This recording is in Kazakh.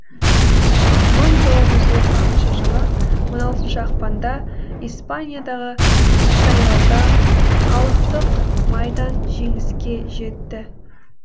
мың тоғыз жүз отыз алтыншы жылы он алтыншы ақпанда испаниядағы сайлауда халықтық майдан жеңіске жетті